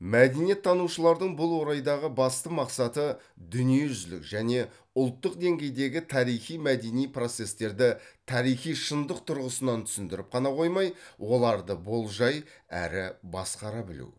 мәдениеттанушылардың бұл орайдағы басты мақсаты дүниежүзілік және ұлттық денгейдегі тарихи мәдени процестерді тарихи шындық тұрғысынан түсіндіріп қана қоймай оларды болжай әрі басқара білу